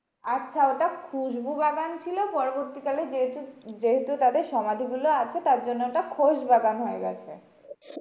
আচ্ছা ওটা খুসবু বাগান ছিল পরবর্তী কালে যেহেতু যেহেতু তাদের সমাধিগুলো আছে, তার জন্য ওটা খোশবাগান হয়েগেছে।